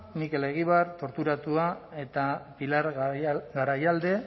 mikel egibar torturatua eta pilar garaialde